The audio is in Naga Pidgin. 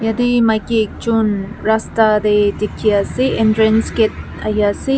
yate maiki ekjon rasta teh dikhi ase entrance gate ahi ase.